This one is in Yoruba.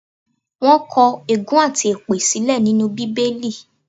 Wọ́n kọ̀ ègún àti èpè sílẹ̀ nínú Bíbélì.